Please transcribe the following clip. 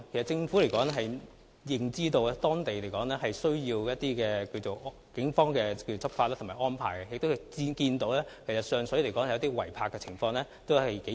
政府其實知悉北區需要警方採取執法行動及作出安排，也看到上水出現嚴重的違例泊車問題。